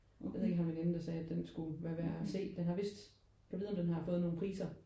Jeg ved ikke har en veninde der sagde at den skulle være værd at se den har vist gad vide om den har fået nogen priser?